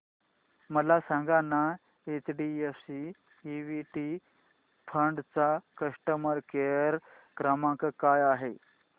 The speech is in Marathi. मला सांगाना एचडीएफसी इक्वीटी फंड चा कस्टमर केअर क्रमांक काय आहे